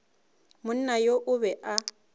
monna yo o be a